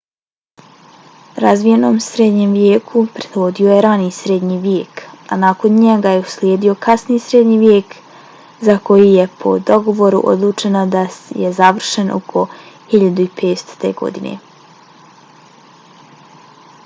razvijenom srednjem vijeku prethodio je rani srednji vijek a nakon njega je uslijedio kasni srednji vijek za koji je po dogovoru odlučeno da je završen oko 1500. godine